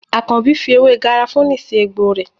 Àkànbí fi ewé garafuni sì egbò rẹ.